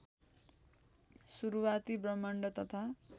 सुरूवाती ब्रह्माण्ड तथा